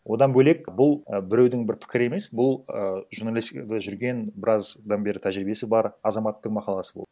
одан бөлек бұл і біреудің бір пікірі емес бұл ііі журналистикада жүрген біраздан бері тәжірибесі бар азаматтың мақаласы болды